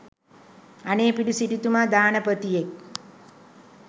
අනේ පිඬු සිටුතුමා දානපතියෙක්